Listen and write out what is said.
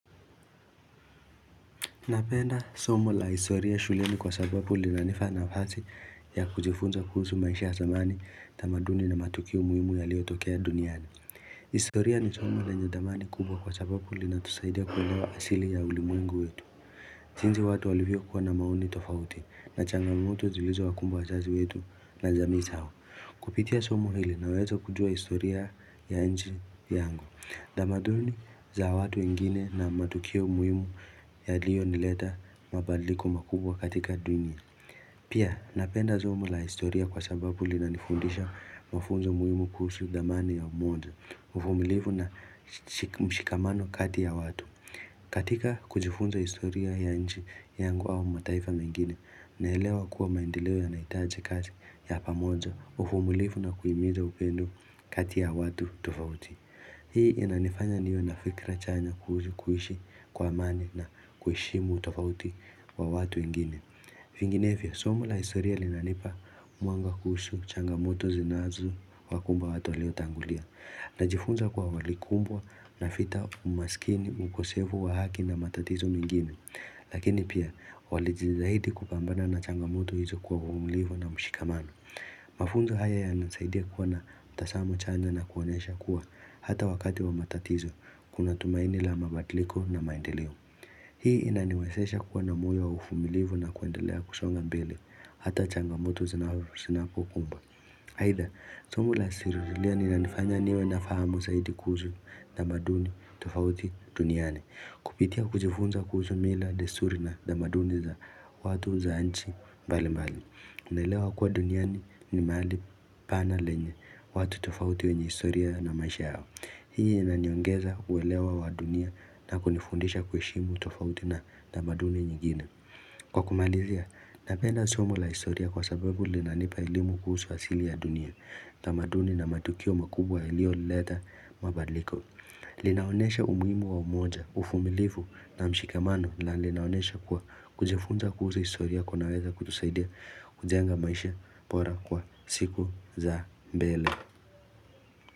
Napenda somo la historia shuleni kwa sababu linanifa nafasi ya kujifunza kuhusu maisha ya zamani tamaduni na matukio muhimu yaliyotokea duniani. Historia ni somo lenye dhamani kubwa kwa sababu linatusaidia kwenye wa asili ya ulimwengu wetu. Jinsi watu walivyokuwa na maoni tofauti na changamoto zilizo wakumbwa wazazi wetu na jamii zao. Kupitia somo hili nawezo kujua historia ya nchi yangu. Tamaduni za watu wengine na matukio muhimu yaliyonileta mabadiliko makubwa katika dunia. Pia napenda somo la historia kwa sababu linanifundisha mafunzo muhimu kuhusu dhamani ya umoja, uvumilivu na mshikamano kati ya watu. Katika kujifunza historia ya nchi yangu au mataifa mengine naelewa kuwa maendeleo yanahitaji kazi ya pamoja, uvumilivu na kuhimiza upendo kati ya watu tofauti. Hii inanifanya niwe na fikra chanya kuhishi kwa amani na kuheshimu tofauti wa watu wengine. Vinginevyo, somo la historia linanipa mwanga kuhusu changamoto zinazo wakumba watu waliotangulia. Najifunza kwa walikumbwa na fita umaskini mkosevu wa haki na matatizo mingine. Lakini pia walijitahidi kupambana na changamoto hizo kwa uvumilivu na mshikamano. Mafunzo haya yanasaidia kuwa na mtasamo chanya na kuonyesha kuwa Hata wakati wa matatizo kuna tumaini la mabadiliko na maendeleo Hii inaniwezesha kuwa na moyo wa uvumilivu na kuendelea kusonga mbele Hata changamoto zinapokukumba Aitha, somo la siruzulia linanifanya niwe na fahamu zaidi kuhusu tamaduni tofauti duniani. Kupitia kujifunza kuhusu mila desturi na tamaduni za watu za nchi mbali mbali unaelewa kuwa duniani ni mahali panaa lenye watu tofauti wenye historia na maisha yao. Hii inanionyesha uelewa wa dunia na kunifundisha kuheshimu tofauti na tamaduni nyingine. Kwa kumalizia, napenda somo la historia kwa sababu linanipa elimu kuhusu asili ya dunia tamaduni na matukio makubwa yaliyoleta mabadliko. Linaonyesha umuhimu wa umoja, uvumilivu na mshikamano na linaonyesha kuwa kujifunza kuhusu historia kunaweza kutusaidia kujenga maisha bora kwa siku za mbele.